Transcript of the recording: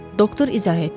Doktor izah etdi.